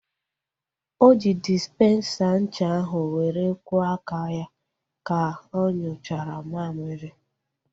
O ji dịsipensa ncha ahu were kwọ aka ya ka onyuchara mmamịrị